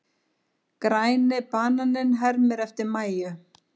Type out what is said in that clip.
Græni bananinn hermir eftir Mæju.